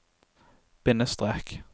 bindestrek